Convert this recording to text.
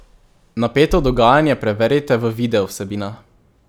Napeto dogajanje preverite v video vsebinah!